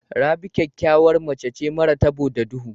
Rabi ƙyakyawar mace ce mara taɓo da ɗuhu.